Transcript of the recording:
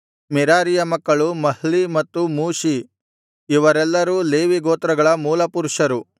ಮೆರಾರಿಯ ಮಕ್ಕಳು ಮಹ್ಲೀ ಮತ್ತು ಮುಷೀ ಇವರೆಲ್ಲರೂ ಲೇವಿ ಗೋತ್ರಗಳ ಮೂಲಪುರುಷರು